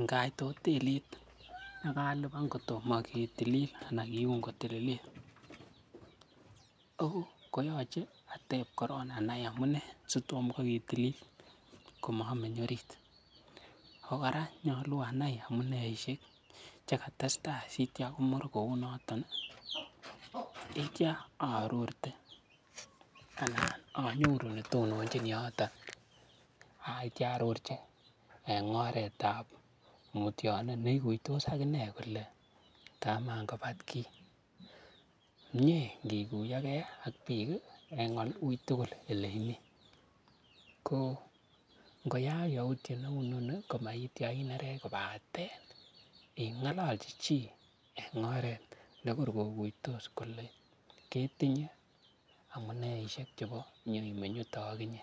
Ngait hotelit ak alipan kotomo ketilili ana kiun kotililit koyoche ateb korong anai amune sitom kwo ketili komomeny orit. Ago kora nyolu anai amuneishek che katestai sitya komur kounoto yeitya aarorte anan anyoru ne tononchin yoto yeitya arorji en oret ab mutyunet ne iguitos ak inee kole kamankobatki. Mie ngikuyo ge ak biik en uitugul ole imi. Ko ngoyaak yautiet neu inoni komagityo inerech kobaten ingololchi chi enoret ne koi koguitos kole ketinye amuneishek chebo inyoimeny yuto ak inye.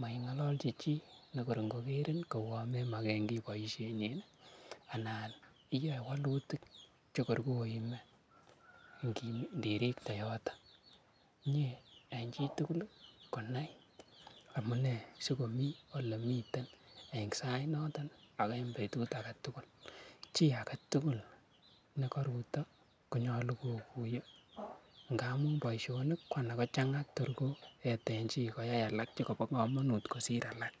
Maingololchi chi nekot ngokerin kouwon memoken kiy boisienyin anan iyoe walutik che kor koime inirikte yoto. Mie en chitugul konai amune sikomii ole miten en sainoton ak en betut age tugul. Chi age tugul ne koruto konyolu koguiyo, ngamun boisionik ko mara kochang'a tor koyeten chi koyai alak che mara kobo komonut kosir alak.